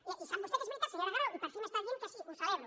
i sap vostè que és veritat senyora grau i per fi m’està dient que sí ho celebro